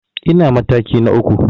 Ina mataki na uku.